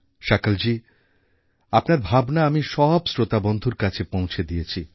শকলজী আপনার ভাবনা আমি সব শ্রোতা বন্ধুর কাছে পৌঁছে দিয়েছি